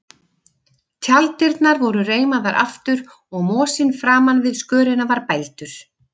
Tjalddyrnar voru reimaðar aftur og mosinn framan við skörina var bældur.